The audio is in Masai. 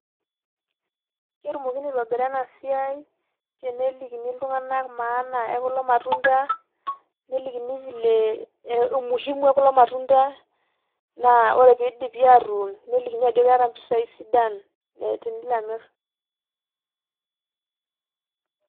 Ketumokini aitobira enasiai tenelikini iltung'anak maana ekulo matunda ,nelikini vile ,eh umuhimu ekulo matunda ,naa ore pidipi atuun, nelikini ajoki keeta mpisai sidan, eh tenilo amir.